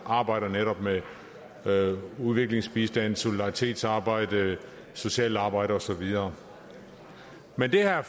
arbejder med udviklingsbistand solidaritetsarbejde socialt arbejde og så videre men det her